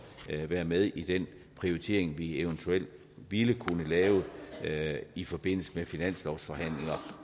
være med i den prioritering vi eventuelt ville kunne lave i forbindelse med finanslovsforhandlinger